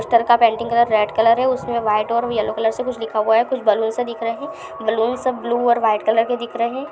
Painting colour red colour है। उसमे white और येलो कलर से कुछ लिखाहुआ है। कुछ बलुन सब दिख रहे हैं। बलुन सब ब्लू और व्हाइट कलर के दिख रहे हैं।